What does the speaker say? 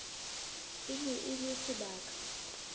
e ne e le sebaka